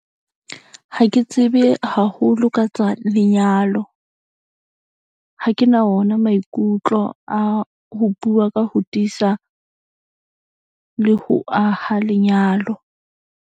Ha ke tsebe haholo ka tsa lenyalo, ha ke na ona maikutlo a ho bua ka ho tiisa le ho aha lenyalo.